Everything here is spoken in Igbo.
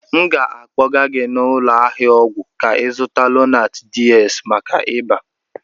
M ga-akpọga gị n'ụlọ ahịa ọgwụ ka ị zuta Lonat DS maka ịba.